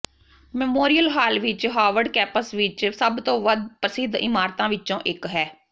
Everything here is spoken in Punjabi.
ਮੈਮੋਰੀਅਲ ਹਾਲ ਹਾਰਵਰਡ ਕੈਪਸ ਵਿੱਚ ਸਭ ਤੋਂ ਪ੍ਰਸਿੱਧ ਇਮਾਰਤਾਂ ਵਿੱਚੋਂ ਇੱਕ ਹੈ